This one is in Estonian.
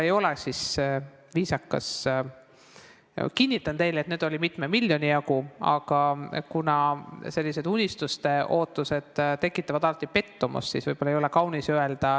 Ma kinnitan teile, et neid oli mitme miljoni jagu, aga kuna selliste ootuste mittetäitumine tekitab alati pettumust, siis võib-olla ei ole kaunis neid välja öelda.